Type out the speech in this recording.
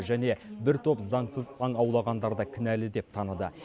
және бір топ заңсыз аң аулағандарды кінәлі деп таныды